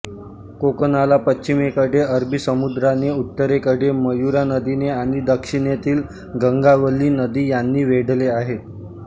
कोकणाला पश्चिमेकडे अरबी समुद्राने उत्तरेकडे मयुरा नदीने आणि दक्षिणेतील गंगावल्ली नदी यांनी वेढले आहे